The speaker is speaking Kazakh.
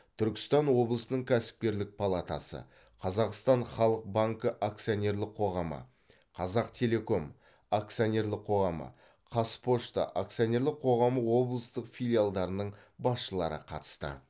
түркістан облысының кәсіпкерлік палатасы қазақстан халық банкі акционерлік қоғамы қазақтелеком акционерлік қоғамы қазпочта акционерлік қоғамы облыстық филиалдарының басшылары қатысты